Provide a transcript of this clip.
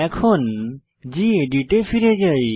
এখন গেদিত এ ফিরে যাই